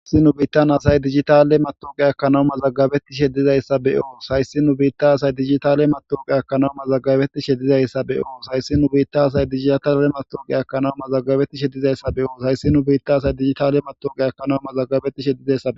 is nu biittan asay dijitale matoqe ekkanaw mazagabetti sheddizayssa be7oos hayssi nu biitta asay digitale matoqe ekkanaw mazagabetishe dizayssa be7oos hayssi nu biitta asay digitale matoqiya ekkanaw mazagabettishe ddizayssa be7oo hayssi nu biitta asay digitale matawuqiya ekkanaw mazagabettishe dizaysa